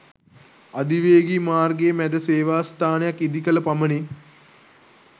අධිවේගී මාර්ගයේ මැද සේවා ස්ථානයක් ඉදි කළ පමණින්